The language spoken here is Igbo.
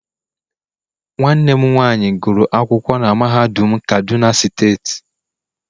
nwanne m nwanyi guru akwukwo na mahadum kaduna steeti